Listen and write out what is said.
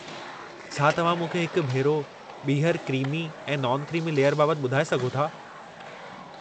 छा तव्हां मूंखे हिक भेरो ॿीहर क्रीमी ऐं नॉन-क्रीमी लेयर बाबति ॿुधाए सघो था?